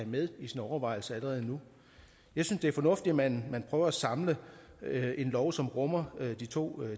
med i sine overvejelser allerede nu jeg synes det er fornuftigt at man prøver at samle en lov som rummer de to